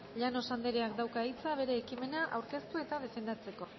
llanos andereak dauka hitza bere ekimena aurkeztu eta defendatzeko